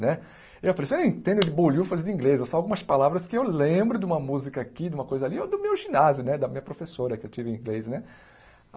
Né eu falei, eu não entendo de bolhufas de inglês, é só algumas palavras que eu lembro de uma música aqui, de uma coisa ali, ou do meu ginásio né, da minha professora que eu tive inglês né.